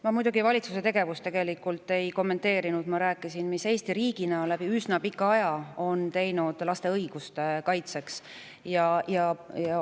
Ma muidugi valitsuse tegevust tegelikult ei kommenteerinud, ma rääkisin, mida on Eesti riik üsna pika aja jooksul laste õiguste kaitseks teinud.